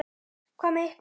Hvað með ykkur?